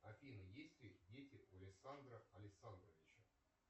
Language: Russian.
афина есть ли дети у александра александровича